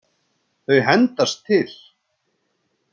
Þau hendast til.